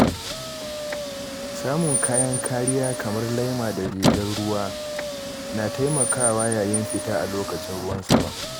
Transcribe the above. Samun kayan kariya kamar laima da rigar ruwa na taimakawa yayin fita a lokacin ruwan sama.